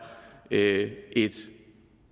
er et